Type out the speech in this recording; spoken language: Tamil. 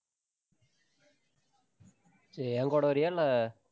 என் கூட வர்றியா? இல்லை.